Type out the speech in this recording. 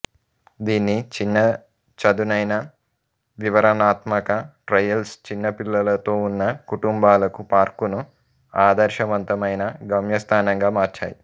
దీని చిన్న చదునైన వివరణాత్మక ట్రయల్స్ చిన్న పిల్లలతో ఉన్న కుటుంబాలకు పార్కును ఆదర్శవంతమైన గమ్యస్థానంగా మార్చాయి